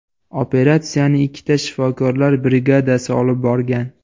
Operatsiyani ikkita shifokorlar brigadasi olib borgan.